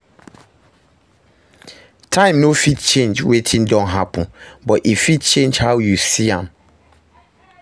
Time no fit change wetin don happen, but e fit change how you see am